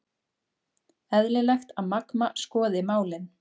Eðlilegt að Magma skoði málin